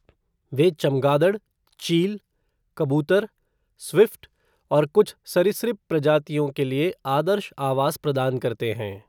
वे चमगादड़, चील, कबूतर, स्विफ़्ट और कुछ सरीसृप प्रजातियों के लिए आदर्श आवास प्रदान करते हैं।